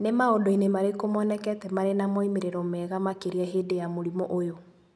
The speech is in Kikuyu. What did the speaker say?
Nĩ maũndũ-inĩ marĩkũ monekete marĩ na moimĩrĩro mega makĩria hĩndĩ ya mũrimũ ũyũ?